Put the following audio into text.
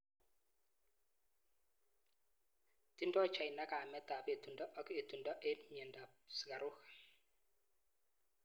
Tindoi China kaimet ap etundo ak etundo eng miendo ap sukaruk.